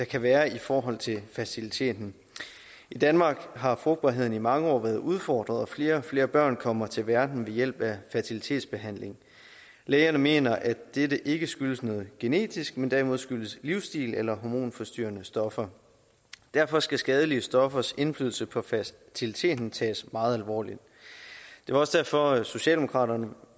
kan være i forhold til fertiliteten i danmark har frugtbarheden i mange år været udfordret og flere og flere børn kommer til verden ved hjælp af fertilitetsbehandling lægerne mener at dette ikke skyldes noget genetisk men derimod skyldes livsstil eller hormonforstyrrende stoffer derfor skal skadelige stoffers indflydelse på fertiliteten tages meget alvorligt der var også derfor at socialdemokraterne